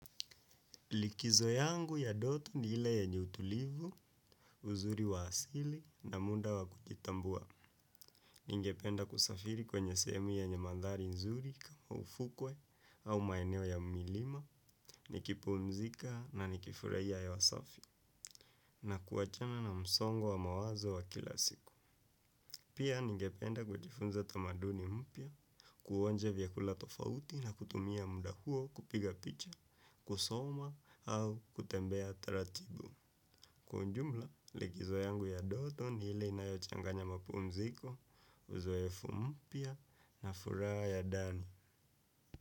Likizo yangu ya ndoto ni ile yenye utulivu, uzuri wa asili na muda wa kujitambuwa. Ningependa kusafiri kwenye sehemu yenye mandari nzuri kama ufukwe au maeneo ya milima, nikipumzika na nikifurahia hewa safi na kuachana na msongo mawazo wa kila siku. Pia ningependa kujifunza tamaduni mpya, kuonja vyakula tofauti na kutumia muda huo kupiga picha, kusoma au kutembea taratibu. Kwa ujumla, likizo yangu ya ndoto ni ile inayochanganya mapumziko, uzoefu mpya na furaha ya ndani.